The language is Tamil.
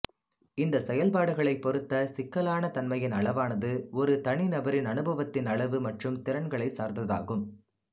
இந்த செயல்பாடுகளைப் பொறுத்த சிக்கலான தன்மையின் அளவானது ஒரு தனிநபரின் அனுபவத்தின் அளவு மற்றும் திறன்களைச் சார்ந்ததாகும்